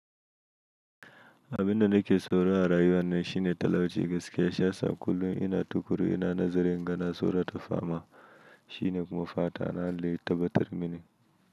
Abinda nake tsoro a rayuwa nan shine talauci gaskiya shiyasa kullum ina tukuru ina nazari inga nasaurata fama shine kuma fatana Allah ya tabatar mini.